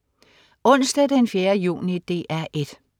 Onsdag den 4. juni - DR 1: